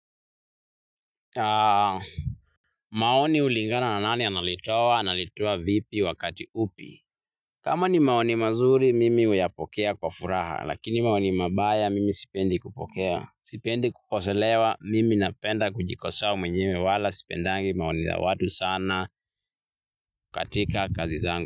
Maoni hulingana na nani analitoa, analitoa vipi wakati upi. Kama ni maoni mazuri, mimi uyapokea kwa furaha. Lakini maoni mabaya, mimi sipendi kupokea. Sipendi kukoselewa, mimi napenda kujikosoa mwenyewe wala. Sipendangi maoni za watu sana katika kazi zangu.